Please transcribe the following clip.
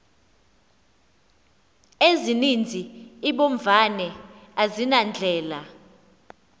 ezininzi iimbovane azinandlela